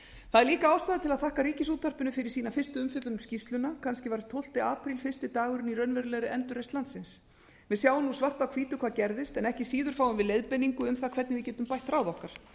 það er líka ástæða til að þakka ríkisútvarpinu fyrir sína fyrstu umfjöllun um skýrsluna kannski verður tólfta apríl fyrsti dagurinn í raunverulegri endurreisn landsins við sjáum svart á hvítu hvað gerðist en ekki síður fáum við leiðbeiningu um það hvernig við getum bætt ráð okkar